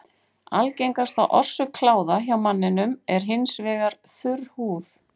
Algengasta orsök kláða hjá manninum er hins vegar þurr húð.